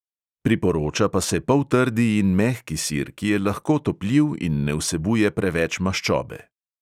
Priporoča pa se poltrdi in mehki sir, ki je lahko topljiv in ne vsebuje preveč maščobe.